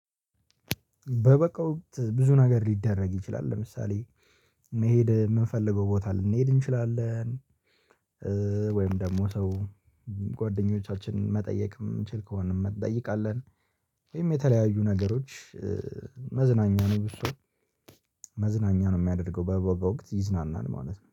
በበጋ ወቅት ብዙ ነገር ሊደረግ ይችላል ለምሳሌ መሄድ የምንፈልገው ቦታ ልንሄድ እንችላለን። ወይም ደግሞ ሰው ጓደኞቻችንን መጠየቅ የምንችል ከሆነ እንጠይቃለን። ወይም የተለያዩ ነገሮች። መዝናኛ ነው ብዙ ሰው መዝናኛ ነው የሚያደርገው በበጋ ወቅት ይዝናናል ማለት ነው